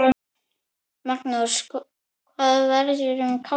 Magnús: Hvað verður um kálfinn?